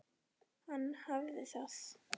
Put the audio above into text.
Hann hafði það.